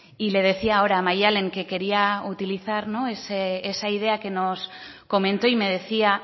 y le decía ahora a madalen que quería utilizar esa idea que nos comentó y me decía